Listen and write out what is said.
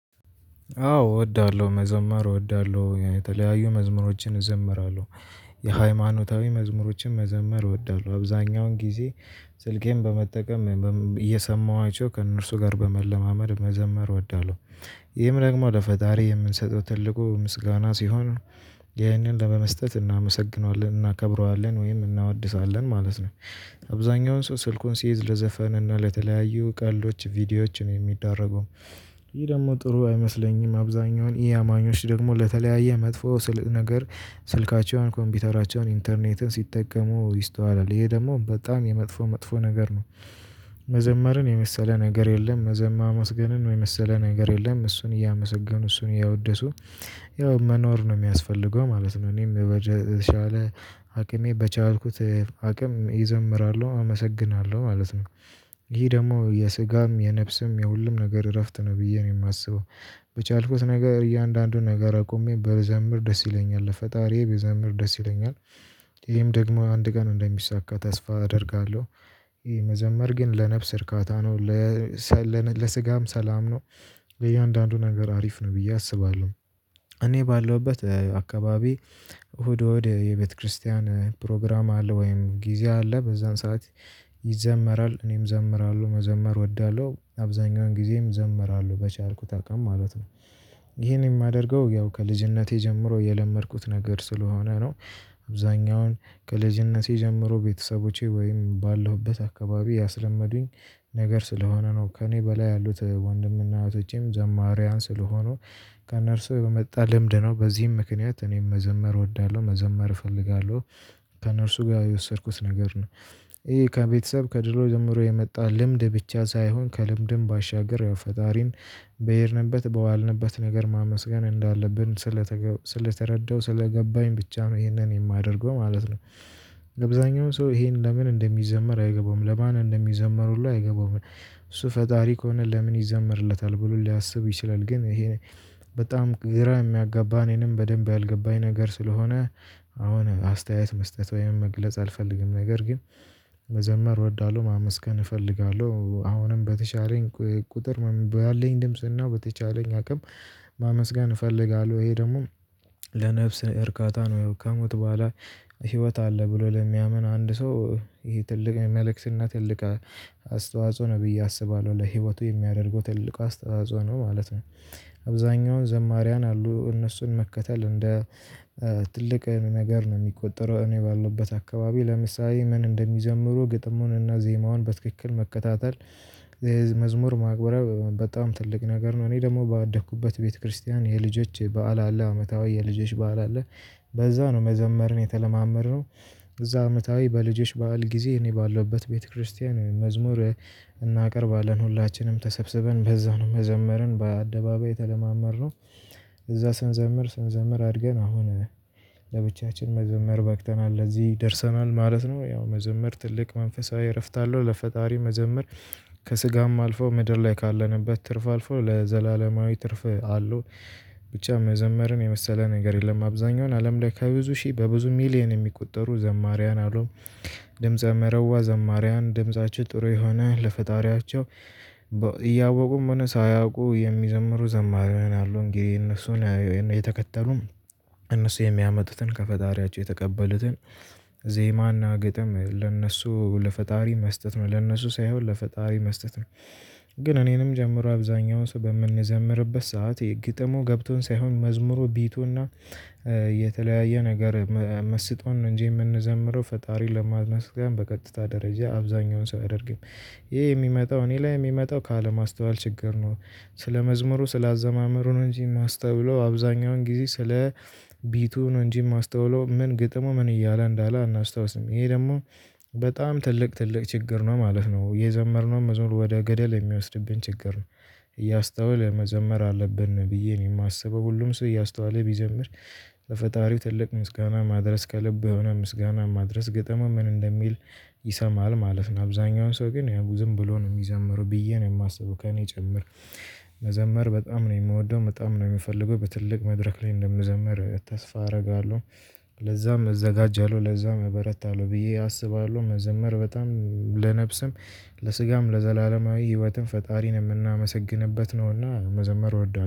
አዎ እወዳለሁ መዘመር እወዳለሁ የተለያዩ መዝሙሮችን እዘምራለሁ የሃይማኖታዊ መዝሙሮችን መዘመር እወዳለሁ አብዛኛውን ጊዜ ስልኬን በመጠቀም እየሰማኋቸው ከእነርሱ ጋር በመለማመድ መዘመር እወዳለው። ይህም ደግሞ ለፈጣሪ የምንሰጠው ትልቁ ምስጋና ሲሆን ይህንን ለመስጠት እናመሰግነዋለን እናከብረዋለን ወይም እናወድሳለን ማለት ነው። አብዛኛውን ሰው ስልኩን ሲይዝ ለዘፈን እና ለተለያዩ ቀልዶች ቪዲዮዎችን የሚደረጉም። ይህ ደግሞ ጥሩ አይመስለኝም አብዛኛውን ኢ አማኞች ደግሞ ለተለያየ መጥፎ ነገር ስልካቸውን ኮምፒውተራቸውን ኢንተርኔትን ሲጠቀሙ ይስተዋላል ይሄ ደግሞ በጣም የመጥፎ መጥፎ ነገር ነው። መዘመርን የመሰለ ነገር የለም መዘማም ማመስገንን የመሰለ ነገር የለም እሱን እያመሰገኑ እሱን እያወደሱ ያው መኖር ነው የሚያስፈልገው ማለት ነው። እኔም በተቻለ አቅሜ በቻልኩት አቅም እዘምራሉ አመሰግናለሁ ማለት ነው። ይሄ ደግሞ የስጋም የነፍስም የሁሉም ነገር እረፍት ነው ብዬ ነው የማስበው። በቻልኩት ነገር እያንዳንዱን ነገር አቁሜ ብዘምር ደስ ይለኛል ለፈጣሪዬ ብዘምር ደስ ይለኛል። ይሄም ደግሞ አንድ ቀን እንደሚሳካ ተስፋ አደርጋለሁ። ይሄ መዘመር ግን ለነፍስ እርካታ ነው። ለስጋም ሰላም ነው። ለእያንዳንዱ ነገር አሪፍ ነው ብዬ አስባለሁ። እኔ ባለሁበት አካባቢ እሁድ እሁድ የቤተክርስቲያን ፕሮግራም አለ ወይም ጊዜ አለ በዛን ሰዓት ይዘመራል እኔም እዘምራለሁ መዘመር እወዳለሁ አብዛኛውን ጊዜም እዘምራለሁ በቻልኩ አቅም ማለት ነው። ይሄን የማደርገው ያው ከልጅነቴ ጀምሮ የለመድኩት ነገር ስለሆነ ነው። አብዛኛውን ከልጅነቴ ጀምሮ ቤተሰቦቼ ወይም ባለሁበት አካባቢ ያስለመዱኝ። ነገር ስለሆነ ነው ከእኔ በላይ ያሉት ወንድምና እህቶቼም ዘማሪያን ስለሆኑ። ከእነርሱ የመጣ ልምድ ነው በዚህም ምክንያት እኔም መዘመር እወዳለሁ መዘመር እፈልጋለሁ። ከእነርሱ ጋር የወሰድኩት ነገር ነው። ይሄ ከቤተሰብ ከድሮ ጀምሮ የመጣ ልምድ ብቻ ሳይሆን ከልምድም ባሻገር ያው ፈጣሪን በሄድንበት በዋልንበት ነገር ማመስገን እንዳለብን ስለተረዳሁ ስለገባኝ ብቻ ነው ይሄንን የማደርገው ማለት ነው። አብዛኛው ሰው ይሄን ለምን እንደሚዘምር አይገባውም ለማን እንደሚዘምር ሁሉ አይገባውም። እሱ ፈጣሪ ከሆነ ለምን ይዘመርለታል ብሎ ሊያስብ ይችላል። ግን ይሄ በጣም ግራ የሚያጋባ እኔንም በደንብ ያልገባኝ ነገር ስለሆነ። አሁን አስተያየት መስጠት ወይም መግለጽ አልፈልግም ነገር ግን። መዘመር እወዳለሁ ማመስገን እፈልጋለሁ አሁንም በተቻለኝ ቁጥር ባለኝ ድምጽናው በተቻለኝ አቅም። ማመስገን እፈልጋለሁ ይሄ ደግሞ ለነፍስ እርካታ ነው። ያው ከሞት በኋላ ህይወት አለ ብሎ ለሚያምን አንድ ሰው። ይሄ ትልቅ መልእክትና ትልቅ አስተዋጽኦ ነው ብዬ አስባለሁ ለህይወቱ የሚያደርገው ትልቅ አስተዋጽኦ ነው ማለት ነው። አብዛኛውን ዘማሪያን አሉ እነሱን መከተል እንደ ትልቅ ነገር ነው የሚቆጠረው። እኔ ባለሁበት አካባቢ ለምሳሌ ምን እንደሚዘምሩ ግጥሙንና ዜማውን በትክክል መከታተል። የመዝሙር ማቅረብ በጣም ትልቅ ነገር ነው እኔ ደግሞ ባደኩበት ቤተክርስቲያን የልጆች በዓል አለ አመታዊ የልጆች በዓል አለ። በዛ ነው መዘመርን የተለማመድነው። እዛ አመታዊ በልጆች በዓል ጊዜ እኔ ባለሁበት ቤተክርስቲያን መዝሙር እናቀርባለን ሁላችንም ተሰብስበን በዛ ነው መዘመርን በአደባባይ የተለማመድነው። እዛ ስንዘምር ስንዘምር አድገን አሁን ለብቻችን መዘመር በቅተናል ለዚህ ደርሰናል ማለት ነው። ያው መዘመር ትልቅ መንፈሳዊ እረፍት አለሁ ለፈጣሪ መዘመር ከስጋም አልፈው ምድር ላይ ካለንበት ትርፍ አልፈው ለዘላለማዊ ትርፍ አለው። ብቻ መዘመርን የመሰለ ነገር የለም አብዛኛውን አለም ላይ ከብዙ ሺህ በብዙ ሚሊየን የሚቆጠሩ ዘማሪያን አሉ። ድምፀ መረዋ ዘማሪያን ድምፃቸው ጥሩ የሆነ ለፈጣሪያቸው። እያወቁም ሆነ ሳያውቁ የሚዘምሩ ዘማሪያን አሉን እንግዲህ እነሱን የተከተሉም። እነሱ የሚያመጡትን ከፈጣሪያቸው የተቀበሉትን ዜማና ግጥም ለእነሱ ለፈጣሪ መስጠት ለእነሱ ሳይሆን ለፈጣሪ መስጠት ነው። ግን እኔንም ጨምሮ አብዛኛውን ሰው በምንዘምርበት ሰዓት ግጥሙ ገብቶን ሳይሆን መዝሙሩ ቢቱና የተለያየ ነገር መስጦን እንጂ የምንዘምረው ፈጣሪን ለማመስገን በቀጥታ ደረጃ አብዛኛውን ሰው አያደርግም። ይሄ የሚመጣው እኔ ላይ የሚመጣው ካለማስተዋል ችግር ነው። ስለመዝሙሩ ስለአዘማመሩ ነው እንጂ የማስተውለው አብዛኛውን ጊዜ ስለ ቢቱ ነው እንጂ የማስተውለው ምን ግጥሙ ምን እያለ እንዳለ አናስታውስም። ይሄ ደግሞ በጣም ትልቅ ትልቅ ችግር ነው ማለት ነው የዘመርነው መዘሙር ወደ ገደል የሚወስድብን ችግር ነው። እያስተዋልን መዘመር አለብን ብዬ ነው የማስበው። ሁሉም ሰው እያስተዋለ ቢዘምር በፈጣሪው ትልቅ ምስጋና ማድረስ ከልብ ምስጋና ማድረስ ግጥሙ ምን እንደሚል ይሰማል ማለት ነው። አብዛኛውን ሰው ግን ያው ዝም ብሎ ነው የሚዘምረው ብዬ ነው የማስበው ከእኔ ጭምር። መዘመር በጣም ነው የምወደው በጣም ነው የምፈልገው በትልቅ መድረክ ላይ እንደምዘምር ተስፋ አደርጋለሁ። ለዛም እዘጋጃለሁ ለዛም እበረታለሁ ብዬ አስባለሁ መዘመር በጣም ለነፍስም ለስጋም ለዘላለማዊ ህይወትም ፈጣሪን የምናመሰግንበት ነውና መዘመር እወዳለሁ